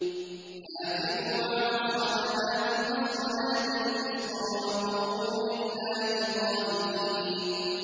حَافِظُوا عَلَى الصَّلَوَاتِ وَالصَّلَاةِ الْوُسْطَىٰ وَقُومُوا لِلَّهِ قَانِتِينَ